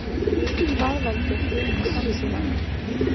Hvað veldur hruni sandsílanna